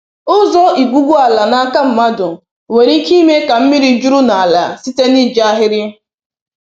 Ụzọ igwugwu ala n’aka mmadụ nwere ike ime ka mmiri juru n’ala site n’iji ahịrị